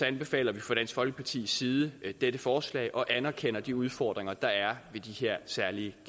anbefaler vi fra dansk folkepartis side dette forslag og anerkender de udfordringer der er ved de her særlige